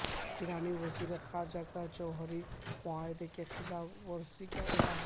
ایرانی وزیر خارجہ کا جوہری معاہدے کی خلاف ورزی کا اعلان